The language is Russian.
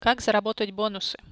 как заработать бонусы